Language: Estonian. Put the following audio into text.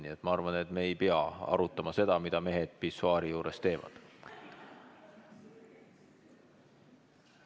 Nii et ma arvan, et me ei pea arutama seda, mida mehed pissuaari juures teevad.